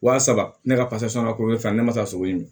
Wa saba ne ka ka ko kɛ ne ma taa sogo ye